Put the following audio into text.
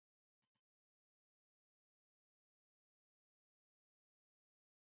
Hann hélt áfram út, settist uppá hjólið og lagði af stað.